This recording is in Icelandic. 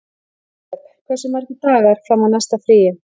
Jósep, hversu margir dagar fram að næsta fríi?